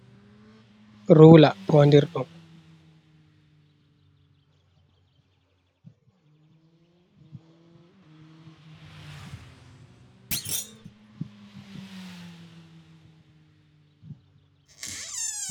Tula fondir ɗum.